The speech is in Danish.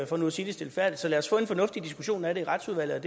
for nu at sige det stilfærdigt så lad os få en fornuftig diskussion af det i retsudvalget